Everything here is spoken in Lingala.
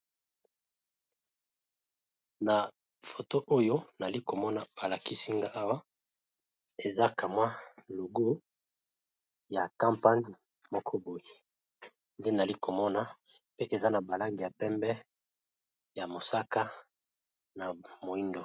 Na photo Oyo namoni balakisinagai Awa ezakamwa logo ya capagni Moko boue eaa nana Langi ya pembe pe ya moyindo